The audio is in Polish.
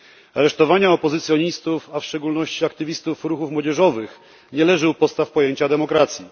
Aresztowanie opozycjonistów, a w szczególności aktywistów ruchów młodzieżowych, nie leży u podstaw pojęcia demokracji.